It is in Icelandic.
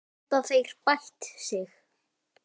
Geta þeir bætt sig?